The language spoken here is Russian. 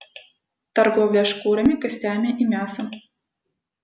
торговля шкурами костями и мясом